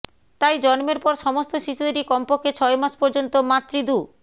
তাই জন্মের পর সমস্ত শিশুদেরই কমপক্ষে ছয় মাস পর্যন্ত মাতৃদু